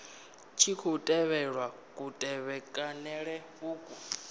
tshi khou tevhelwa kutevhekanele uku